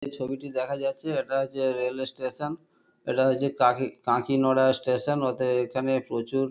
এই ছবিটি দেখা যাচ্ছে এটা হচ্ছে রেল স্টেশন এটা হচ্ছে কাকি-কাঁকিনড়া স্টেশন অতএব এখানে প্রচুর।